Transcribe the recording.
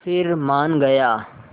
फिर मान गया